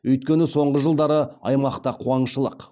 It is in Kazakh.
өйткені соңғы жылдары аймақта қуаңшылық